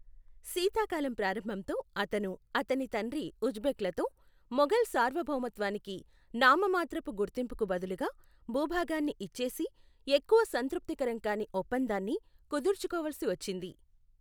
శీతాకాలం ప్రారంభంతో, అతను, అతని తండ్రి ఉజ్బెక్లతో, మొఘల్ సార్వభౌమత్వానికి నామమాత్రపు గుర్తింపుకు బదులుగా భూభాగాన్ని ఇచ్చేసి, ఎక్కువ సంతృప్తికరం కాని ఒప్పందాన్ని కుదుర్చుకోవలసి వచ్చింది, .